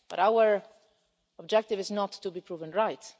But our objective is not to be proven right.